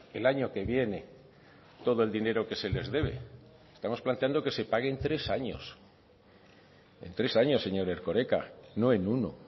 el año que viene todo el dinero que se les debe estamos planteando que se pague en tres años en tres años señor erkoreka no en uno